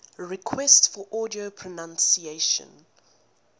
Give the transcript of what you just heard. requests for audio pronunciation